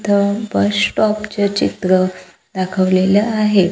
इथं bus stop चे चित्र दाखवलेलं आहे.